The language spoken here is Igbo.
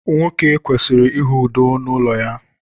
nwoke kwesịrị ịhụ udo n’ụlọ ya